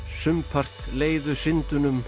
sumpart leiðu